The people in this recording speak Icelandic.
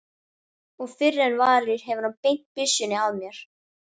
Og fyrr en varir hefur hann beint byssunni að mér.